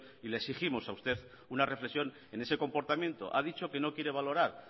y le exigimos a usted una reflexión en ese comportamiento ha dicho que no quiere valorar